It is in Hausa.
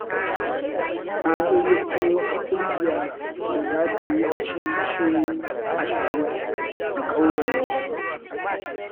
Na gayyato wata ƙungiya da za ta yi dashen bishiyoyi ashirin a ƙauyenmu.